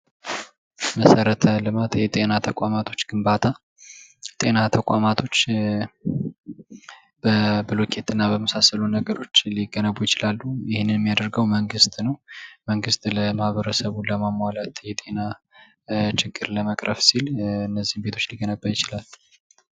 መሰረተ ልማት የጤና ተቋማቶች ግንባታ ጤና ተቋማቶች በብሎኬትና በመሳሰሉ ነገሮች ሊገነቡ ይችላሉ። ይህንን የሚያደርጉ መንግስት ነው። መንግስት ለማህበረሰቡ ለማሟላት የጤና ችግር ለመቅረብ ሲል እነዚህን ቤቶች ሊገነባይ ይችላል።